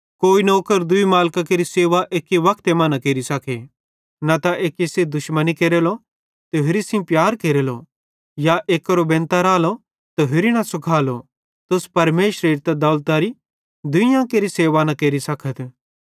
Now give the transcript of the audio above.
कोई नौकर दूई मालिकां केरि सेवा एक्की वक्ते मां न केरि सके न त एक्की सेइं दुश्मनी केरेलो ते होरि सेइं प्यार केरेलो या एक्केरो बेनतां रालो त होरि न सुखालो तुस परमेशरेरी ते दौलतरी दुइयां केरि सेवा न केरि सकथ